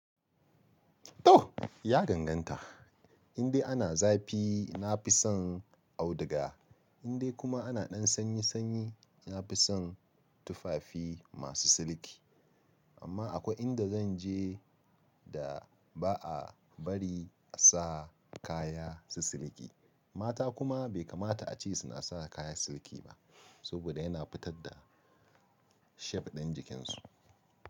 To! Ya ganganta, indai ana zafi nafi son auduga, indai kuma ana ɗan sanyi sanyi nafi son tufafi masu silki. Amma akwai inda zanje da ba'a bari a sa kaya su silki. Mata kuma bai kamata a ce suna sa kaya silki ba, saboda yana fitar da shape ɗin jikinsu.